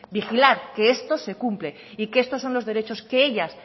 vigilar que esto se cumple y que estos son los derecho que ellas